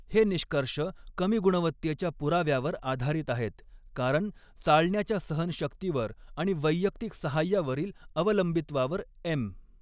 हे निष्कर्ष कमी गुणवत्तेच्या पुराव्यावर आधारित आहेत कारण चालण्याच्या सहनशक्तीवर आणि वैयक्तिक सहाय्यावरील अवलंबित्वावर एम.